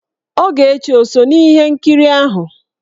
Ogechi ò so n'ihe nkiri ahụ?